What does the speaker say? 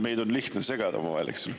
Meid on lihtne omavahel segi ajada, eks ole.